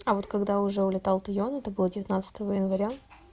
а вот когда уже улетал туйон это было девятнадцатого января